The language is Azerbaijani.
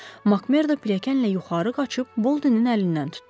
Makmerdo pilləkənlə yuxarı qaçıb Boldenin əlindən tutdu.